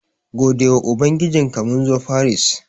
Godewa ubangijinka, mun zo Faris.